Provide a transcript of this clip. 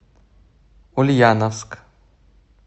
ульяновск